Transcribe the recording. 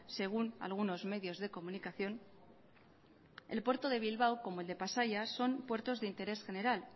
según algunos medios de comunicación el puerto de bilbao como el de pasaia son puertos de interés general